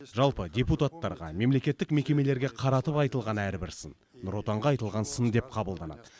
жалпы депутаттарға мемлекеттік мекемелерге қаратып айтылған әрбір сын нұр отанға айтылған сын деп қабылданады